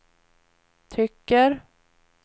tycker